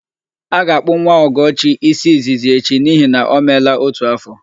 A ga-akpụ nwa Ọgọchi ísí izizi echi n'ihi na o meela ótù áfọ̀.